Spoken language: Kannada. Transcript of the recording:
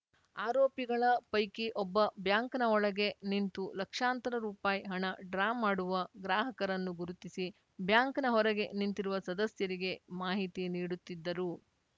ಆರೋಪಿಗಳ ಪೈಕಿ ಒಬ್ಬ ಬ್ಯಾಂಕ್‌ನ ಒಳಗೆ ನಿಂತು ಲಕ್ಷಾಂತರ ರುಪಾಯಿ ಹಣ ಡ್ರಾ ಮಾಡುವ ಗ್ರಾಹಕರನ್ನು ಗುರುತಿಸಿ ಬ್ಯಾಂಕ್‌ನ ಹೊರಗೆ ನಿಂತಿರುವ ಸದಸ್ಯರಿಗೆ ಮಾಹಿತಿ ನೀಡುತ್ತಿದ್ದರು